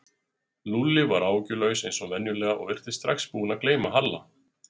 Lúlli var áhyggjulaus eins og venjulega og virtist strax búinn að gleyma Halla.